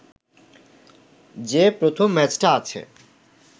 যে প্রথম ম্যাচটা আছে